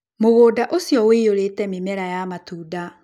Mũgũnda ũcio ũiyũrĩte mĩmera ya matunda.